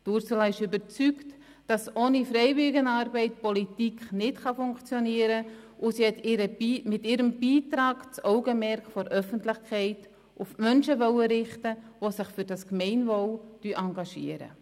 Ursula Zybach ist überzeugt, dass Politik ohne Freiwilligenarbeit nicht funktionieren kann, und sie hat mit ihrem Beitrag das Augenmerk der Öffentlichkeit auf Menschen richten wollen, die sich für das Gemeinwohl engagieren.